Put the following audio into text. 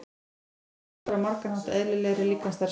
Nikótín raskar á margan hátt eðlilegri líkamsstarfsemi.